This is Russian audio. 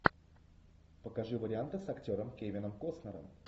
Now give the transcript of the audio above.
покажи варианты с актером кевином костнером